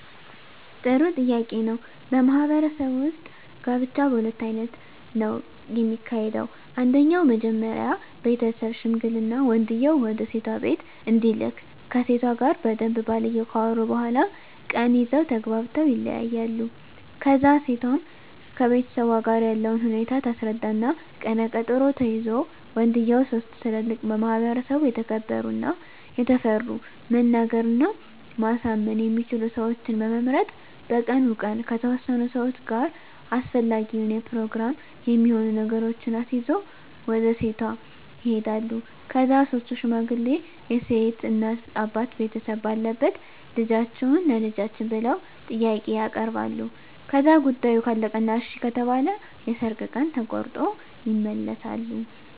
ጥሩ ጥያቄ ነው በማህበረሰቡ ውጥ ጋብቻ በሁለት አይነት ነው ከሚካሄደው አንደኛው መጀመሪ ቤተሠብ ሽምግልና ወንድየው ወደሴቷ ቢቤት እንዲልክ ከሴቷ ጋር በደንብ ባልየው ካወሩ በኋላ ቀን ይዘው ተግባብተው ይለያያሉ ከዛ እሴቷም ከቤተሠቧ ጋር ያለውን ሁኔታ ታስረዳ እና ቀነ ቀጠሮ ተይዞ ወንድየው ሥስት ትላልቅ በማህበረሰቡ የተከበሩ እና የታፈሩ መናገር እና ማሳመን የሚችሉ ሠወችን በመምረጥ በቀኑ ቀን ከተወሠኑ ሠዋች ጋር አሰፈላጊውን የፕሮግራም የሚሆኑ ነገሮችን አሲዞ ወደ ሴቷ ይሄዳሉ ከዛ ሥስቱ ሽማግሌ የሴት እናት አባት ቤተሰብ ባለበት ልደፈጅዎትን ቸልጃችን ብለው ጥያቄ ያበርባሉ ከዛ ጉዳዮ ካለቀ እና እሺ ከተባለ የሠርግ ቀን ተቆሮጦ ይመለሣሉ